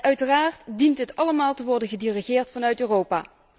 Uiteraard dient het allemaal te worden gedirigeerd vanuit Europa.